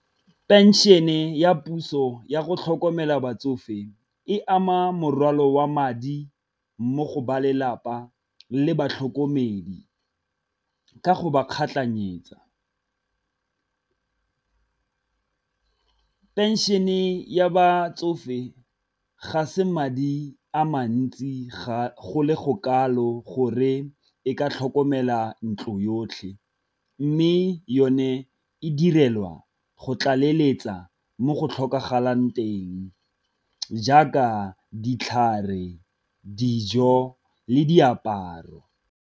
Pension-e ya puso yago tlhokomela batsofe e ama morwalo wa madi mo go ba lelapa le batlhokomedi, ka go ba kgatlhanyetsa. Pension-e ya batsofe ga se madi a mantsi go le go kalo gore e ka tlhokomela ntlo yotlhe, mme yone e direlwa go tlaleletsa mo go tlhokagalang teng jaaka ditlhare, dijo le diaparo.